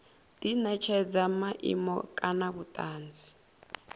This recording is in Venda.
di netshedza maimo kana vhutanzi